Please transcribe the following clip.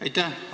Aitäh!